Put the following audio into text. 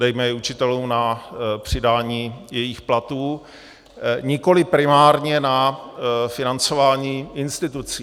Dejme je učitelům na přidání jejich platů, nikoli primárně na financování institucí.